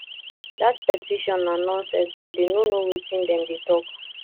dat petition na nonsense and dey no know wetin dem dey talk